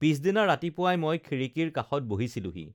পিছদিনা ৰাতিপুৱাই ম‍ই খিড়ীকিৰ কাষত বহিছিলোহি